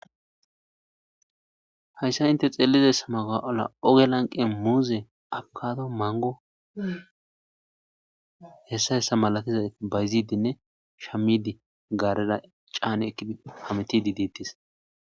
hayssa inte xeelizaysa mala oge lanqe muuze abkado mango hessa hessa malatizay bayzidinne shamidi gaarera caane eki hametidi diittis